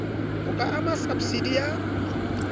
ho ka ama sabsidi ya